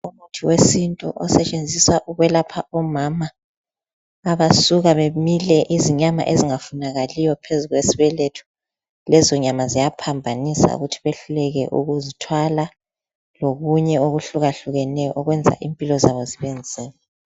Umuthi wesintu osetshenziswa ukwelapha omama abasuka bamile izinyama ezingafunakaliyo phezu kwesibeletho, lezo inyama ziyaphambanisa ukuthi behluleke ukuzithwala lokunye okuhlukahlukeneyo okwenza impilo zabo zibe nzima.